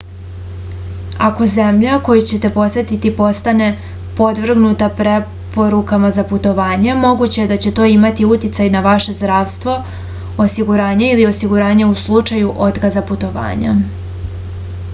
ako zemlja koju ćete posetiti postane podvrgnuta preporukama za putovanja moguće da će to imati uticaj na vaše zdravstveno osiguranje ili osiguranje u slučaju otkaza putovanja